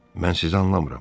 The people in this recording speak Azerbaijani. Mən sizi anlamıram.